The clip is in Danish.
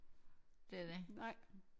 Det er det